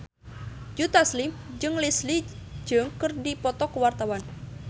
Joe Taslim jeung Leslie Cheung keur dipoto ku wartawan